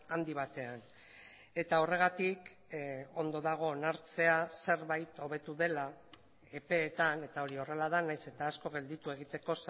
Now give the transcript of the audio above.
handi batean eta horregatik ondo dago onartzea zerbait hobetu dela epeetan eta hori horrela da nahiz eta asko gelditu egiteko